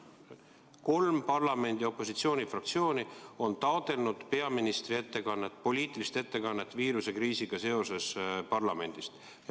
Kolm parlamendi opositsioonifraktsiooni on taotlenud parlamendis peaministri poliitilist ettekannet viirusekriisi kohta.